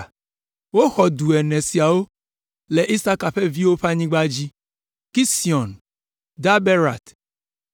Woxɔ du ene siawo le Isaka ƒe viwo ƒe anyigba dzi: Kision, Daberat,